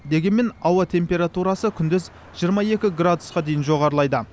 дегенмен ауа температурасы күндіз жиырма екі градусқа дейін жоғарылайды